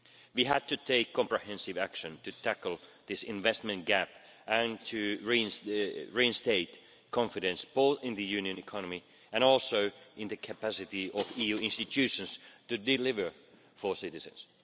We had to take comprehensive action to tackle this investment gap and to reinstate confidence both in the Union economy and also in the capacity of EU institutions to deliver for citizens.